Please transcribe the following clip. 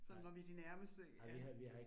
Sådan når vi de nærmeste ja